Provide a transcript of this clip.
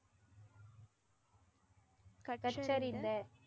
கற்றறிந்த.